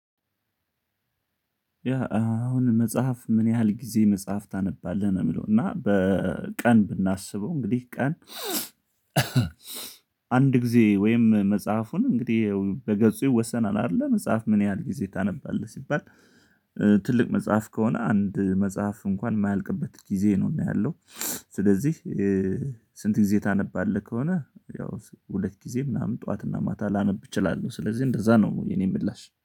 ያ አሁን መጽሐፍ ምን ያህል ጊዜ መጽሐፍ ታነባለህ ነው የምለው እና በቀን ብናስበው እንግዲህ ቀን? አንድ ጊዜ ወይም መጽሐፉን እንግዲህ በገጹ ወሰናል አይደለ መጽሐፍ ምን ያህል ጊዜ ታነባለህ ሲባል? ትልቅ መጽሐፍ ከሆነ አንድ መጽሐፍ እንኳን የማያልቅበት ጊዜ ነው እና ያለው። ስለዚህ ስንት ጊዜ ታነባለህ? ከሆነ ያው ሁለት ጊዜ ምናምን ጠዋትና ማታ ላነብ እችላለሁ ስለዚህ እንደዛ ነው። የኔ ምላሽ